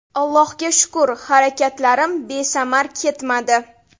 Allohga shukr, harakatlarim besamar ketmadi.